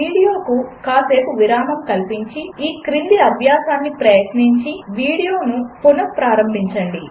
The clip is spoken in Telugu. వీడియోకు కాసేపు విరామం కల్పించి ఈ క్రింది అభ్యాసమును ప్రయత్నించి వీడియోను పునఃప్రారంభించండి